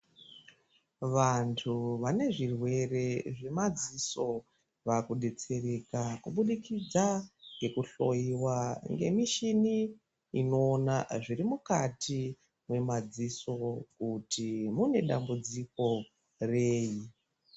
Vantu vane zvirwere zvemadziso, vakudetsereka kubudikidza ngekuhloyiwa ngemishini inoona zvirimukati memadziso, kuti mune dambudziko rei.